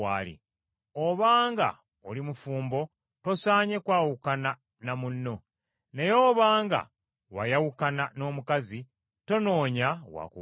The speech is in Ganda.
Obanga oli mufumbo tosaanye kwawukana na munno. Naye obanga wayawukana n’omukazi, tonoonya wa kuwasa.